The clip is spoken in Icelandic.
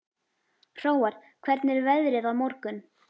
Hróar, hvernig er veðrið á morgun?